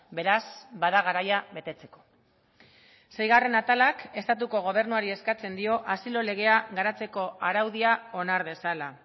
beraz bada garaia betetzeko seigarren atalak estatuko gobernuari eskatzen dio asilo legea garatzeko araudia onar dezala